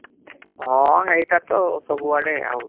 ହଁ ହେଈଟା ତ ସବୁଆଡେ ଆଉ